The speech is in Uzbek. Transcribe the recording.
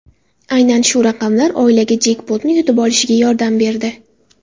Aynan shu raqamlar oilaga jekpotni yutib olishiga yordam berdi.